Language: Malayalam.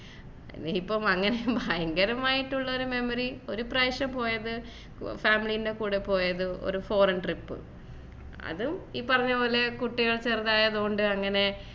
ഇനി ഇപ്പൊ അങ്ങനെ ഭയങ്കരമായിട്ടുള്ള ഒരു memory ഒരു പ്രാവശ്യം പോയത് family ൻ്റെ കൂടെ പോയത് ഒരു Foreign ട്രിപ്പ് അതും ഈ പറഞ്ഞ പോലെ കുട്ടികൾ ചെറുതായതുകൊണ്ട് അങ്ങനെ